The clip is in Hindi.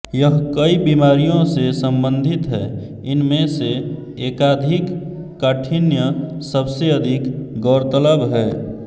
यह कई बिमारियों से सम्बंधित है इनमे से एकाधिक काठिन्य सबसे अधिक गौरतलब है